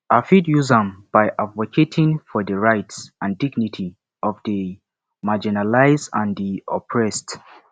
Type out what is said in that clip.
i fit use am by advocating for di rights and dignity of di marginalized and di oppressed